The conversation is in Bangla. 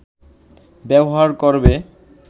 ব্যবহার করবে